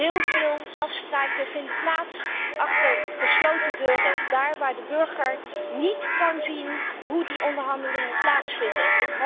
Heel veel afspraken worden gemaakt achter gesloten deuren, daar waar de burger niet kan zien hoe de onderhandelingen verlopen.